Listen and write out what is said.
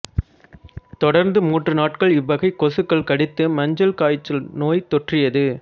தொடர்ந்து மூன்று நாட்கள் இவ்வகை கொசுக்கள் கடித்து மஞ்சள் காய்ச்சல் நோய் தொற்றியது